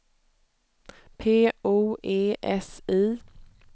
P O E S I